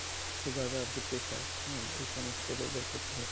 sugar আরকি pressure হ্যা এই সমস্ত রোগের ক্ষেত্রে